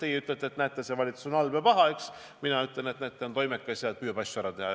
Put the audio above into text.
Teie ütlete, et näete, see valitsus on halb ja paha, aga mina ütlen, et näete, see valitsus on toimekas ja püüab asju ära teha.